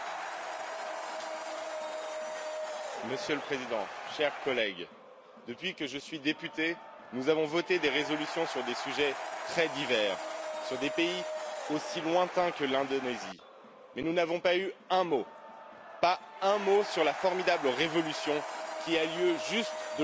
Monsieur le Président, chers collègues, depuis que je suis député, nous avons voté des résolutions sur des sujets très divers, sur des pays aussi lointains que l'Indonésie, mais nous n'avons pas eu un mot sur la formidable révolution qui a lieu juste de l'autre côté de la Méditerranée, en Algérie.